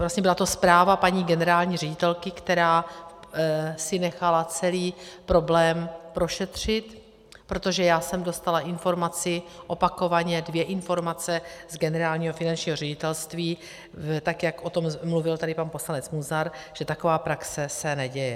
Vlastně byla to zpráva paní generální ředitelky, která si nechala celý problém prošetřit, protože já jsem dostala informaci, opakovaně, dvě informace z Generálního finančního ředitelství, tak jak o tom mluvil tady pan poslanec Munzar, že taková praxe se neděje.